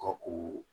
Ka u